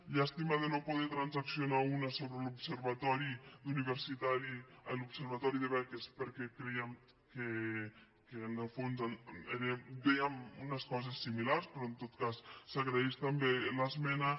llàstima de no poder transaccionar·ne una sobre l’observatori de beques perquè creiem que en el fons vèiem unes coses similars però en tot cas s’agraeix també l’esmena